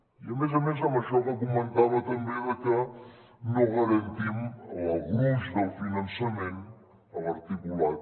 i a més a més amb això que comentava també de que no garantim el gruix del finançament en l’articulat